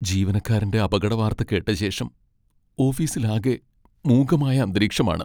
ജീവനക്കാരൻ്റെ അപകടവാർത്ത കേട്ടശേഷം ഓഫീസിലാകെ മൂകമായ അന്തരീക്ഷമാണ്.